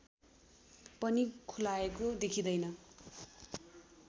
पनि खुलाएको देखिँदैन